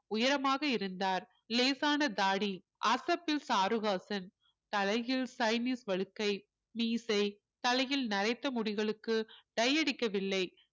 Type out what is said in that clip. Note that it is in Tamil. உயரமாக இருந்தார் லேசான தாடி அசப்பில் சாருஹாசன் தலையில் சைனீஸ் வலுக்கை மீசை தலையில் நரைத்த முடிகளுக்கு dye அடிக்கவில்லை